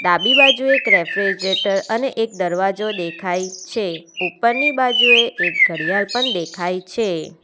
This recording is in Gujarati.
ડાબી બાજુ એક રેફ્રિજેટર અને એક દરવાજો દેખાય છે ઉપરની બાજુએ એક ઘડિયાલ પણ દેખાય છે.